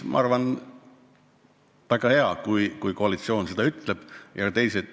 Ma arvan, et on väga hea, kui koalitsioon seda ütleb.